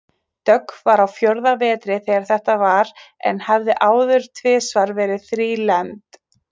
Dögg var á fjórða vetri þegar þetta var en hafði áður tvisvar verið þrílembd.